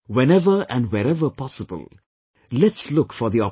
Whenever and wherever possible, let's look for the opportunity